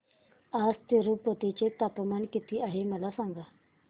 आज तिरूपती चे तापमान किती आहे मला सांगा